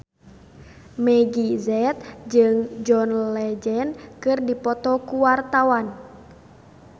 Meggie Z jeung John Legend keur dipoto ku wartawan